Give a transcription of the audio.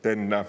Tennä!